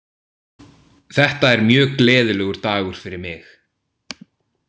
Þetta er mjög gleðilegur dagur fyrir mig.